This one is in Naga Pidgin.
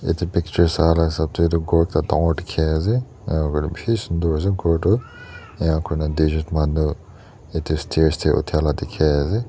yate picture sahla hisab teh tu ghor ekta dangor dikhi ase aa bishi sundor ase ghor tu ena koina duijon manu yate stairs teh utha lah dikhi ase.